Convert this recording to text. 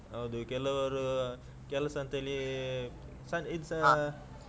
ಹೌದು ಕೆಲವರು ಅಹ್ ಕೆಲಸಂತೆಲಿ ಇದ್ಸಾ.